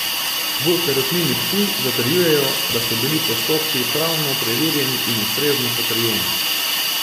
V Perutnini Ptuj zatrjujejo, da so bili postopki pravno preverjeni in ustrezno potrjeni.